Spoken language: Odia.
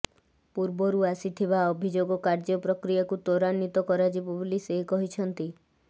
ପୂର୍ବରୁ ଆସିଥିବା ଅଭିଯୋଗ କାର୍ଯ୍ୟ ପ୍ରକ୍ରିୟାକୁ ତ୍ବରାନ୍ବିତ କରାଯିବ ବୋଲି ସେ କହିଛନ୍ତି